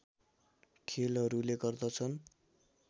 खेलहरूले गर्दछन्